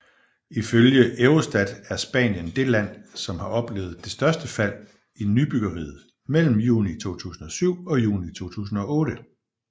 Ifølge Eurostat er Spanien det land som har oplevet det største fald i nybyggeriet mellem juni 2007 og juni 2008